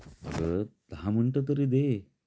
अग दहा मिनिटं तरी दे